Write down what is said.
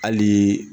Hali